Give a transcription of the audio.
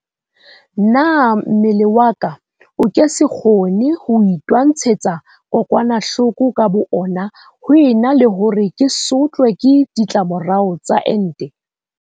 Na mmele wa ka o ke se kgone ho itwantshetsa kokwanahloko ka bo ona ho ena le hore ke sotlwe ke ditlamorao tsa ente?